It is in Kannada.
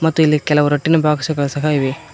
ಮತ್ತೆ ಇಲ್ಲಿ ಕೆಲವು ರಟ್ಟಿನ ಬಾಕ್ಸ್ ಗಳು ಸಹ ಇವೆ.